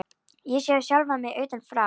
Ég sá sjálfa mig utan frá.